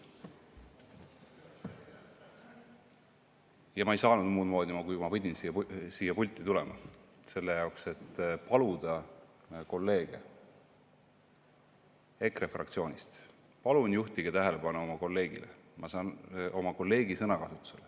Ja ma ei saanud muud moodi, kui ma pidin siia pulti tulema, et paluda kolleege EKRE fraktsioonist: palun juhtige tähelepanu oma kolleegi sõnakasutusele.